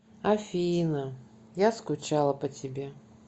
афина я скучала по тебе